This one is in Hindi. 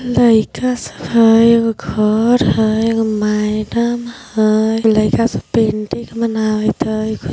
लाइका सब हय। एगो घर हई। एगो मैडम हय। लाइका सब पेंटिंग बनावत हई---